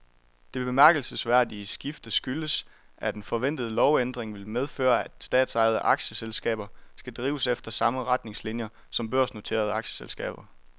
Det bemærkelsesværdige skifte skyldes, at en forventet lovændring vil medføre, at statsejede aktieselskaber skal drives efter samme retningslinier som børsnoterede aktieselskaber.